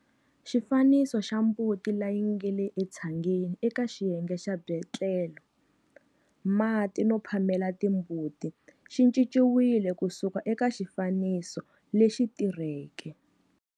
Xifaniso xa mbuti leyi nga le tshangeni eka xiyenge xa byetlelo, mati no phamela timbuti xi cinciwile ku suka eka xifaniso lexi tirhweke.